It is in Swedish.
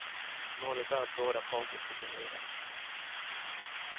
Målet är att båda parter ska bli nöjda.